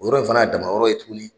O yɔrɔ in fana y'a dama yɔrɔ ye tuguni.